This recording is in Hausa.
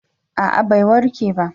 a'a bai warke ba